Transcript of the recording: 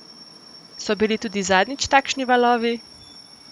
So bili tudi zadnjič takšni valovi?